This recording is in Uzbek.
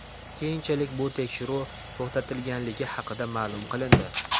Keyinchalik bu tekshiruv to‘xtatilganligi haqida ma’lum qilindi.